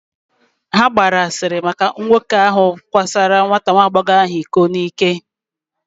Ha gbaara nwoke ahụ n’ike n’ike gbaa asịrị